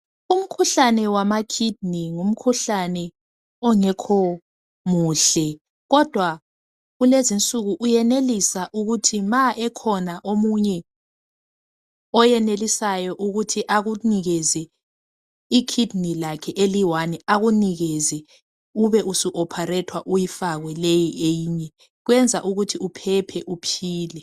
Umkhuhlane wamakidney ngumkhuhlane ongekho muhle kodwa kulezinsuku uyenelisa ukuthi nxa ekhona omunye oyenelisayo ukuthi ekunikeze ikidney lakhe elilodwa akunike ubhsuopharethwa balifake, kwenza ukuthi uphephe uphile.